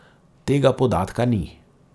Tega podatka ni.